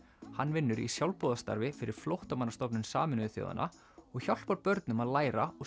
hann vinnur í sjálfboðastarfi fyrir Flóttamannastofnun Sameinuðu þjóðanna og hjálpar börnum að læra og